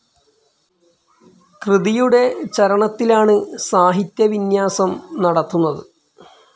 കൃതിയുടെ ചരണത്തിലാണ് സാഹിത്യവിന്യാസം നടത്തുന്നത്.